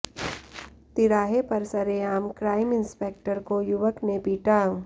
तिराहे पर सरेआम क्राइम इंस्पेक्टर को युवक ने पीटा